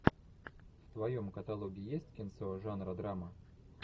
в твоем каталоге есть кинцо жанра драма